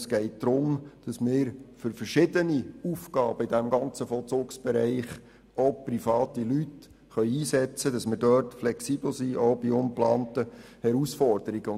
Vielmehr geht es darum, dass wir für verschiedene Aufgaben im ganzen Vollzugsbereich auch private Leute einsetzen können, damit wir auch bei ungeplanten Herausforderungen flexibel sind.